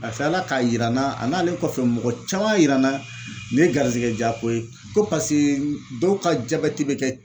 A kila K'a yira n na a n'ale kɔfɛ mɔgɔ caman y'a yira n na ne ye garizigɛ jako ye ko paseke dɔw ka jabɛti be kɛ